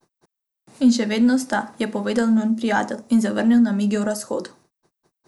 In še vedno sta, je povedal njun prijatelj, in zavrnil namige o razhodu.